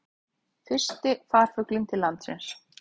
Fyrsti farfuglinn til landsins